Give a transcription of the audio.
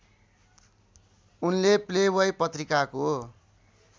उनले प्लेब्वाइ पत्रिकाको